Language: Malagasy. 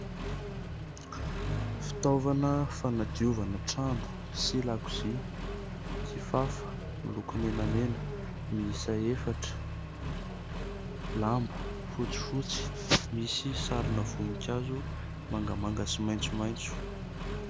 Fitaovana fanadiovana trano sy lakozia : kifafa miloko menamena miisa efatra, lamba fotsifotsy misy sarina voninkazo mangamanga sy maitsomaitso.